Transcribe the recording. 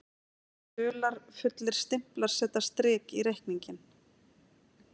Dularfullir stimplar setja strik í reikninginn